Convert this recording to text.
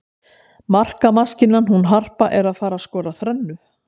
Markamaskínan hún Harpa er að fara skora þrennu.